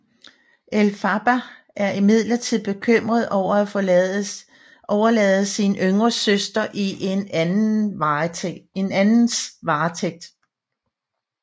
Elphaba er imidlertid bekymret over at overlade sin yngre søster i en andens varetægt